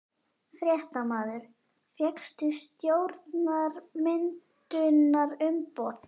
Fréttamaður: Fékkstu stjórnarmyndunarumboð?